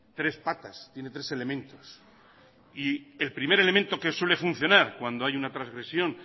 tres patas tiene tres elementos y el primer elemento que suele funcionar cuando hay una trasgresión